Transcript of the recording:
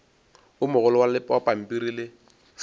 o mogolo wa pampiri le